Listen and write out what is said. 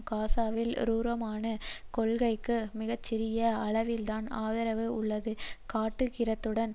காசாவில் குரூரமான கொள்கைக்கு மிக சிறிய அளவில்தான் ஆதரவு உள்ளதை காட்டுகிறதுடன்